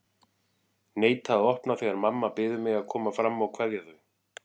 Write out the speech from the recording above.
Neita að opna þegar mamma biður mig að koma fram að kveðja þau.